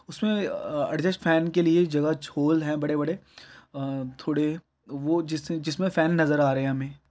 उसमें अ अ एडजस्ट फैन के लिए जगह छोल है बड़े-बड़े अम्म थोड़े वो जिस जिसमें फैन नजर आ रहे हैं हमें।